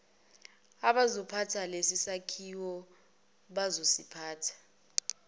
abazophatha lesisakhiwo bazosiphatha